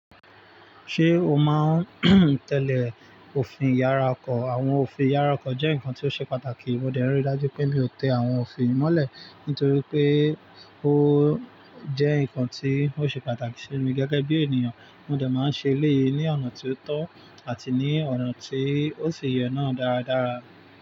Ṣé o máa ń tẹ́lẹ̀ òfin ìyára ọkọ̀? Àwọn òfin ìyára ọkọ̀ jẹ́ nǹkan tí ó ṣe pàtàkì. Mo dẹ̀ rí dájú pé mi ò tẹ àwọn òfin mọ́lẹ̀ nítorí pé ó jẹ́ nǹkan tí ó ṣe pàtàkì sí mi gẹ́gẹ́ bí ènìyàn. Mo dà máa ń ṣe eléyii ní ọ̀nà tí ó tọ́ àti ní ọ̀nà tí ó ṣi yè náà dáradára.